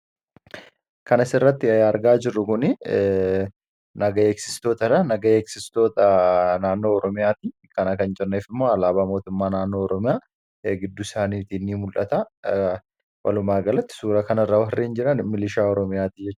kanas irratti argaa jirru gun nagay eeksistoota nagaya eeksistoota naannoo oroomiyaatii kana kan jarneef immoo alaabaa mootummaa naannoo roomiya eegiddu isaaniitii ni mul'ata walumaa galatti suura kana irra warriiin jiran milishaa oroomiyaatii jea